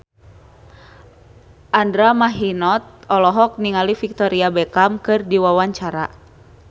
Andra Manihot olohok ningali Victoria Beckham keur diwawancara